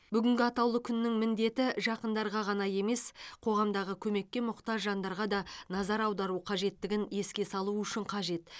бүгінгі атаулы күннің міндеті жақындарға ғана емес қоғамдағы көмекке мұқтаж жандарға да назар аудару қажеттігін еске салу үшін қажет